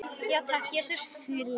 Og takk, Jesús, fyrir lífið.